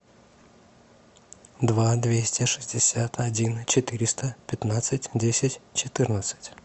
два двести шестьдесят один четыреста пятнадцать десять четырнадцать